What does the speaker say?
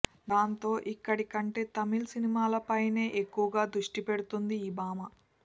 దాంతో ఇక్కడి కంటే తమిళ్ సినిమాలపైనే ఎక్కువగా దృష్టిపెడుతుంది ఈ భామ